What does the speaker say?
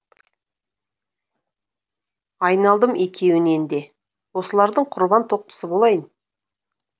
айналдым екеуінен де осылардың құрбан тоқтысы болайын